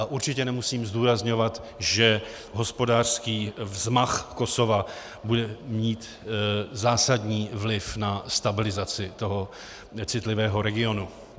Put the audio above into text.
A určitě nemusím zdůrazňovat, že hospodářský vzmach Kosova bude mít zásadní vliv na stabilizaci tohoto citlivého regionu.